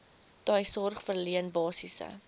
tuissorg verleen basiese